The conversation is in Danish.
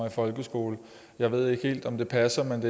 i folkeskolen jeg ved ikke helt om det passer men